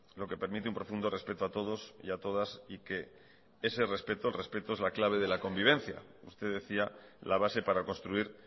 lo que permite un profundo respeto a todos y a todas y que ese respeto el respeto es la clave de la convivencia usted decía la base para construir